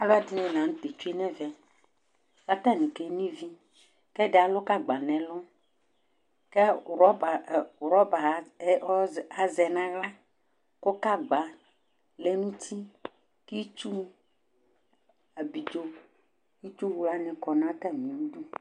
Alɛdini la nu tɛ atsue nɛvɛ atani keno ivi ɛdi alu gagba nu ɛlu rɔba azɛ nu aɣla ku gagba lɛ nu uti ku itsu abidzo itsu wlani kɔnalɛ